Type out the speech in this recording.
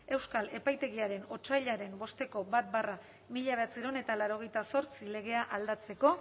euskal epaitegiaren otsailaren bosteko bat barra mila bederatziehun eta laurogeita zortzi legea aldatzeko